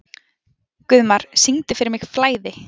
Guðmar, syngdu fyrir mig „Flæði“.